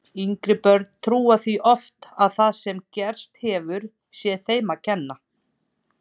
Yngri börn trúa því oft að það sem gerst hefur sé þeim að kenna.